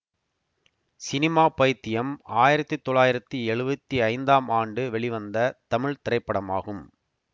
cinema Paithiyam ஆயிரத்தி தொள்ளாயிரத்தி எழுவத்தி ஐந்தாம் ஆண்டு வெளிவந்த தமிழ் திரைப்படமாகும்